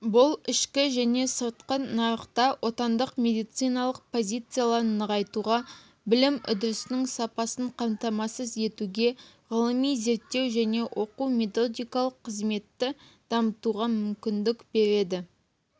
бұл ішкі және сыртқы нарықта отандық медициналық позицияларын нығайтуға білім үдерісінің сапасын қамтамасыз етуге ғылыми-зерттеу және оқу-методикалық қызметті дамытуға мүмкіндік береді